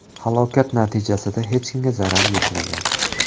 Halokat natijasida hech kimga zarar yetmagan.